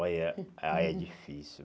Olha, aí é difícil.